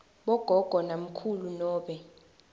bogogo namkhulu nobe